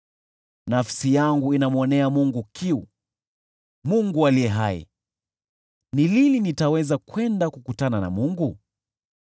Nafsi yangu inamwonea Mungu kiu, Mungu aliye hai. Ni lini nitaweza kwenda kukutana na Mungu?